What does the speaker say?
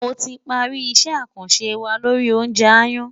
Mo ti parí isẹ́ àkànṣe wa lori oúnjẹ aáyán.